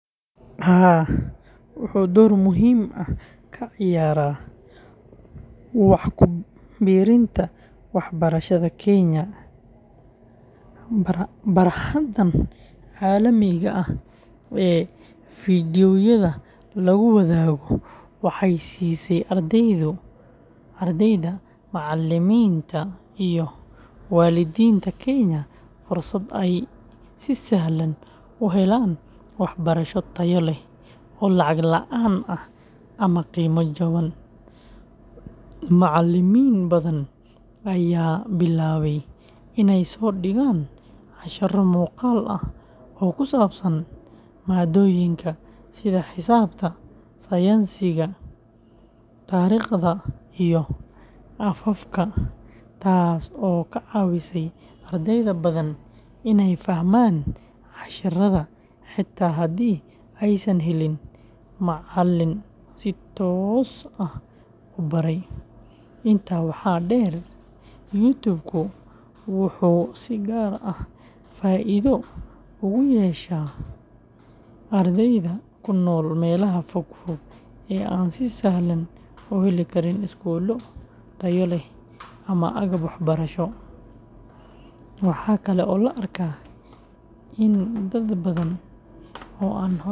Haa wuxu dhor muhim ah ka ciyaraa wax kubirinta wah barashada kenya bar ahantan calamiga ah ee fiidyowyada lagu wadago waxay sise ardadeyda, macaliminta iyo walidinta kenya fursat ai si sahlan uhelan wax barasho tayo leh oo lacag laan ama qima jawan macalimin badan aya bilawe inay sodigan cashara muqaal aah oo kusabsan maa doyinka sitha hisabta, sayansiga, tariqda iyo afafka taas oo kacawise ardeyda badan inay fahman casharada hadii aay san helin macalin si toos aah ubarey intaa waxa der youtube kuu wuhu si gar ah faido ogu yesha ardeyda kunol melaha fog fog ee an si sahlan kuhelii karin skulo tayo leh ama aga wax barasho maxa kale oo laarka ini dad badan oo an.